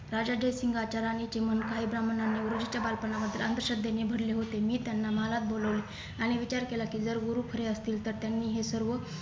राजा जयसिंग राज्यराणीचे मन काही ब्राह्मणांनी गुरुजींच्या बालपणाबद्दल अंधश्रद्धेने भरले होते मी त्यांना महालात बोलवले आणि विचार केला की जर गुरु खरे असतील तर त्यांनी हे सर्व